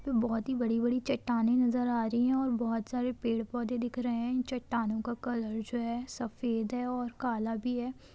बहुत ही बड़ी बड़ी चट्टानें नजर आ रही है और बहुत सारे पेड़ पौधे दिख रहे है चट्टानों का कलर जो है सफेद है और काला भी है।